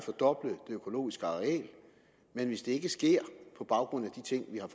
økologiske areal men hvis ikke det sker på baggrund af de ting vi har